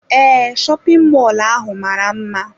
Ee, shopin mọlụ ahụ mara mma.